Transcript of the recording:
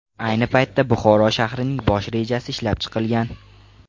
Ayni paytda Buxoro shahrining bosh rejasi ishlab chiqilgan.